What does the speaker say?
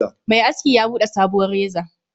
Mai aski ya Bude sabuwar reza